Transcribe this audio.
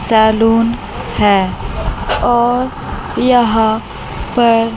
salon है और यहां पर--